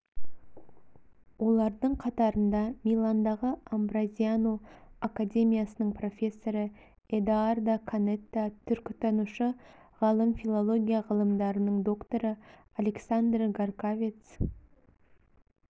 олардың қатарында миландағы амброзиано академиясының профессоры эдоардо канетта түркітанушы ғалым филология ғылымдарының докторы александр гаркавец